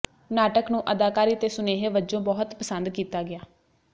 ਨਾਟਕ ਨੂੰ ਅਦਾਕਾਰੀ ਤੇ ਸੁਨੇਹੇ ਵਜੋ ਬਹੁਤ ਪਸੰਦ ਕੀਤਾ ਗਿਆ